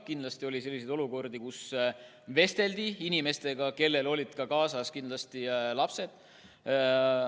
Kindlasti oli selliseid olukordi, kus vesteldi inimestega, kellel olid kaasas lapsed.